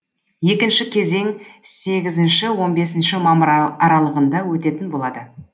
екінші кезең сегізінші он бесінші мамыр аралығында өтетін болады